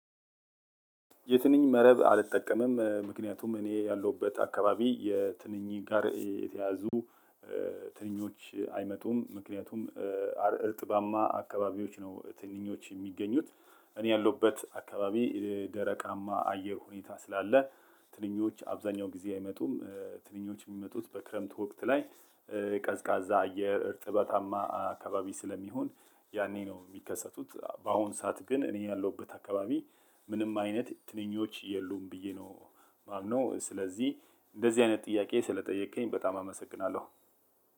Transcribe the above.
የትንኝ መረብ አልጠቀምም። ምክንያቱም እኔ ያለሁበት አካባቢ የትንኝ ጋር የተያያዙ ትንኞች አይመጡም። ምክንያቱም እርጥባማ አካባቢዎች ነው ትንኞች የሚገኙት። እኔ ያለሁበት አካባቢ ደረቃማ አየር ሁኔታ ስላለ ትንኞች አብዛኛው ጊዜ አይመጡም። ትንኞች የሚመጡት በክረምት ወቅት ላይ። ቀዝቃዛ አየር እርጥበታማ አካባቢ ስለሚሆን ያኔ ነው የሚከሰቱት። በአሁን ሰዓት ግን እኔ ያለሁበት አካባቢ ምንም አይነት ትንኞች የሉም ብዬ ነው። ማምነው ስለዚህ እንደዚህ አይነት ጥያቄ ስለጠየከኝ በጣም አመሰግናለሁ።